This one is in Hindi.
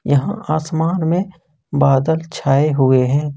यहां आसमान में बादल छाए हुए हैं।